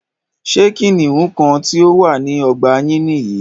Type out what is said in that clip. Ṣé kìnìún kan tí o wà ní ọgbà yín nìyí?